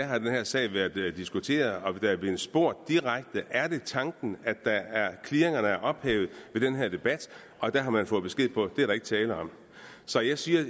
har den her sag været diskuteret og der er blevet spurgt direkte er det tanken at clearingerne er ophævet ved den her debat og der har man fået besked på at det er der ikke tale om så jeg siger at